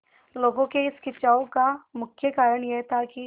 लोगों के इस खिंचाव का मुख्य कारण यह था कि